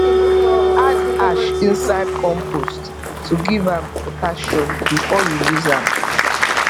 add ash inside compost to give am potassium before you use am